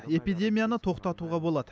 эпидемияны тоқтатуға болады